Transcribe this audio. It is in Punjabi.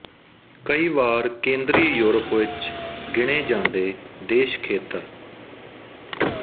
ਕਈ ਵਾਰ ਕੇਂਦਰੀ ਯੂਰਪ ਵਿੱਚ ਗਿਣੇ ਜਾਂਦੇ ਦੇਸ਼ ਖੇਤਰ